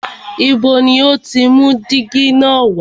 Ibo ni o ti mú dígí na wá?